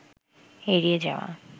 এড়িয়ে যাওয়া